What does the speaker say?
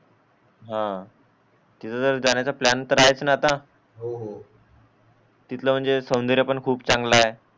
हा तिथे जेर जाण्याचा प्लॅन तर आहे कि आता हो हो तिथला सावनदाऱ्या पण चांगला आहे